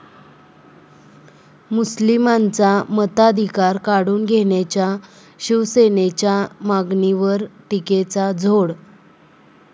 मुस्लिमांचा मताधिकार काढून घेण्याच्या शिवसेनेच्या मागणीवर टीकेची झोड